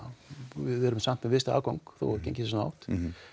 við erum með afgang þó gengið sé svona hátt